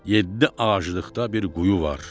Yeddi ağaclıqda bir quyu var.